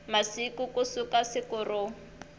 masiku ku suka siku ro